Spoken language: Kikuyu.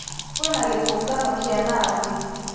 Kwĩna gĩtungano kĩa nathi.